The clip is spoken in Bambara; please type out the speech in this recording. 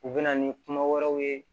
U bɛ na ni kuma wɛrɛw ye